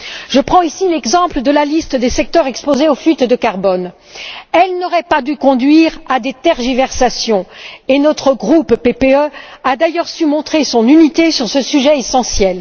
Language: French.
Je prends ici l'exemple de la liste des secteurs exposés aux fuites de carbone elle n'aurait pas dû conduire à des tergiversations et notre groupe, le PPE, a d'ailleurs su montrer son unité sur ce sujet essentiel.